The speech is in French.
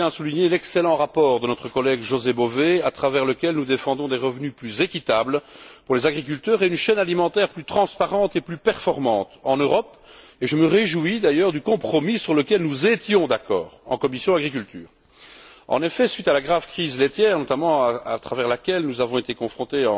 Je tiens à souligner l'excellent rapport de notre collègue José Bové, par lequel nous défendons des revenus plus équitables pour les agriculteurs et une chaîne alimentaire plus transparente et plus performante en Europe, et je me réjouis d'ailleurs du compromis sur lequel nous étions d'accord en commission de l'agriculture. En effet, à la suite, notamment, de la grave crise laitière à laquelle nous avons été confrontés